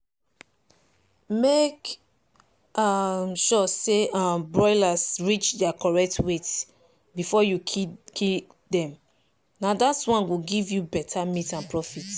make um sure say um broilers reach their correct weight before you kill dem na that one go give you better meat and profit.